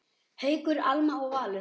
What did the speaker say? Haukur, Alma og Valur.